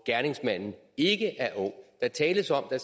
gerningsmanden ikke er ung der tales om at